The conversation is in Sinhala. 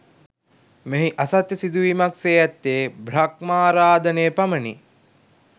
මෙහි අසත්‍ය සිදුවීමක් සේ ඇත්තේ බ්‍රහ්මාරාධනය පමණි